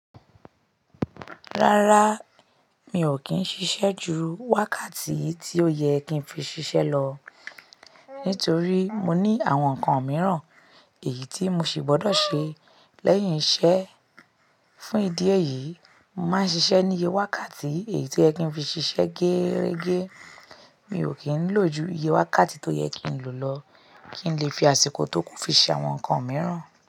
Rárá, mi ò kí n ṣiṣẹ́ ju wákàtí tí ó yẹ kí n fi ṣiṣẹ́ lọ nítorí mo ní àwọn nǹkan mìíràn èyí tí mo sì gbọ́dọ̀ ṣe. Lẹ́yìn iṣẹ́, fún ìdí èyí, nmáa ń ṣiṣẹ́ ní iye wákàtí èyí tío yẹ kí ń fi ṣiṣẹ́ gẹ́rẹ́gẹ́. Mi ò kí ń lò ju iye wákàtí tó yẹ kí n lò lọ kí n lè fi àsìkò tó kú fi ṣe àwọn nǹkan mìíràn.